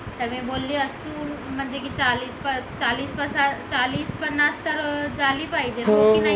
सगळे बोलले असून की म्हणजे झाली पाहिजे आहे की नाही